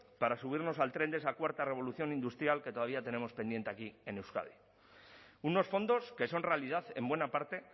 para subirnos al tren de esa cuarta revolución industrial que todavía tenemos pendiente aquí en euskadi unos fondos que son realidad en buena parte